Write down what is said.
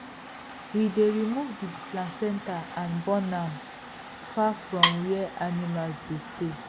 we dey remove the placenta and burn am far from where animals dey stay